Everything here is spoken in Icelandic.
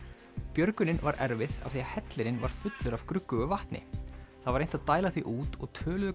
björgunin var erfið af því hellirinn var fullur af gruggugu vatni það var reynt að dæla því út og töluðu